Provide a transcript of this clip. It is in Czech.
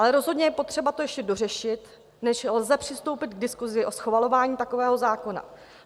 Ale rozhodně je potřeba to ještě dořešit, než lze přistoupit k diskusi o schvalování takového zákona.